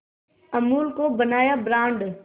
अमूल को बनाया ब्रांड